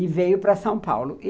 E veio para São Paulo.